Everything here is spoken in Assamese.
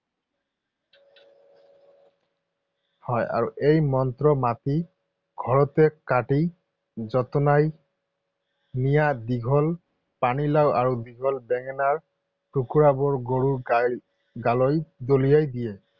হয় আৰু এই মন্ত্ৰ মাতি ঘৰতে কাটি যতনাই নিয়া দীঘল পানীলাও আৰু দীঘল বেঙেনাৰ টুকুৰাবোৰ গৰুৰ গালৈ দলিয়াই দিয়ে।